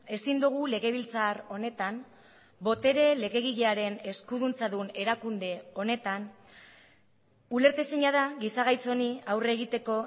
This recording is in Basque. ezin dugu legebiltzar honetan botere legegilearen eskuduntza dun erakunde honetan ulertezina da giza gaitz honi aurre egiteko